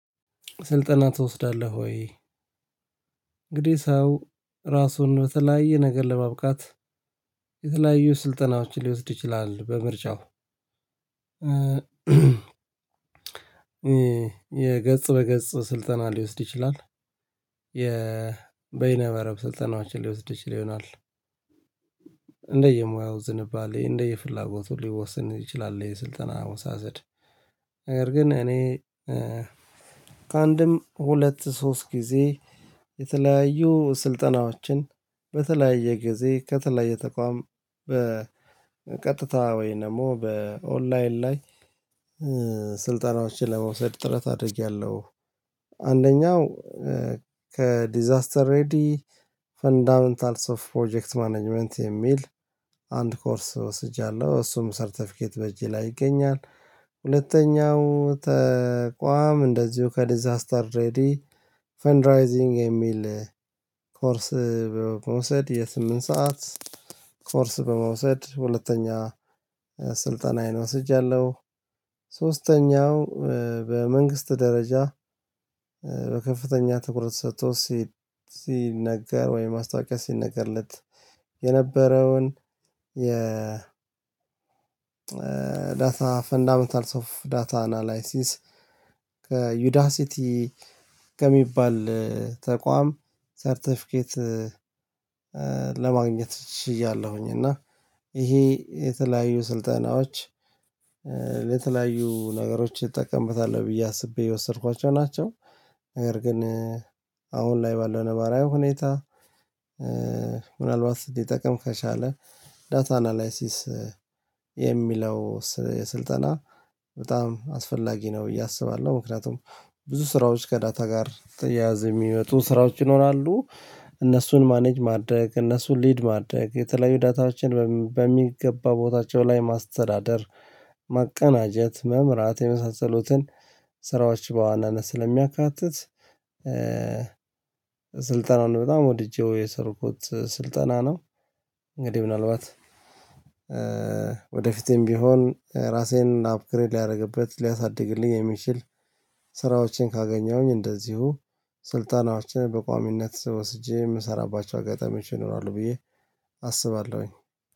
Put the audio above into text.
ስልጠና ትወስዳለህ ወይ? እንግዲህ ሰው ራሱን በተለያየ ነገር ለማብቃት የተለያዩ ስልጠናዎች ሊወስድ ይችላል በምርጫው የገጽ በገጽ ስልጠና ሊወስድ ይችላል። የበይነ መረብ ስልጠናዎችን ሊወስድ ይችል ይሆናል። እንደየሙያው ዝንባሌ እንደየፍላጎቱ ሊወስን ይችላል። የስልጠና አወሳሰድ ነገር ግን እኔ ከአንድም ሁለት ሶስት ጊዜ የተለያዩ ስልጠናዎችን በተለያየ ጊዜ ከተለያየ ተቋም በቀጥታ ወይም ደግሞ በኦንላይን ላይ ለመውሰድ ጥረት አድርጌያለሁ። አንደኛው ከዲዛስተር ሬዲ ፈንዳመንታልስ ኦፍ ፕሮጀክት ማኔጅመንት የሚል አንድ ኮርስ ወስጃለሁ እሱም ሰርተፊኬት በእጄ ላይ ይገኛል። ሁለተኛው ተቋም እንደዚሁ ከዲዛስተር ሬዲ ፈንድራይዚንግ የሚል ኮርስ በመውሰድ የስምንት ሰዓት ኮርስ በመውሰድ ሁለተኛ ስልጠናዬን ወስጃለሁ። ሶስተኛው በመንግስት ደረጃ በከፍተኛ ትኩረት ተሰጥቶት ሲነገር ወይ ማስታወቂያ ሲነገርለት የነበረውን የ ዳታ ፈንዳመንታልስ ኦፍ ዳታ አናላይሲስ ከዩዳሲቲ ከሚባል ተቋም ሰርተፊኬት ለማግኘት ችያለው እና ይሄ የተለያዩ ስልጠናዎች ለተለያዩ ነገሮች እጠቀምበታል ብዬ አስቤ የወሰድኳቸው ናቸው። ነገር ግን አሁን ላይ ባለው ነባራዊ ሁኔታ ምናልባት ሊጠቅም ከቻለ ዳታ አናላይሲስ የሚለው ስልጠና በጣም አስፈላጊ ነው ብዬ አስባለሁ ምክንያቱም ብዙ ስራዎች ከዳታ ጋር ተያያዘ የሚመጡ ስራዎች ይኖራሉ። እነሱን ማኔጅ ማድረግ እነሱን ሊድ ማድረግ የተለያዩ ዳታዎችን በሚገባ ቦታቸው ላይ ማስተዳደር ማቀናጀት መምራት የመሳሰሉትን ስራዎች በዋናነት ስለሚያካትት ስልጠናውን በጣም ወድጄው የሰለጠንኩት ስልጠና ነው። እንግዲህ ምናልባት ወደፊቴም ቢሆን ራሴን አፕግሬድ ላደርግበት ሊያሳድግልኝ የሚችል ስራዎችን ካገኘሁኝ እንደዚሁ ስልጣናችንን በቋሚነት ወስጄ የምሰራባቸው አጋጣሚዎች ይኖራሉ ብዬ አስባለሁኝ